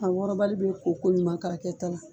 A wɔrɔbali bɛ ko ko ɲuman ka kɛ ta la.